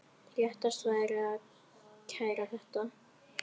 Réttast væri að kæra þetta.